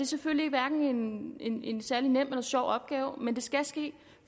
selvfølgelig hverken en en særlig nem eller sjov opgave men det skal ske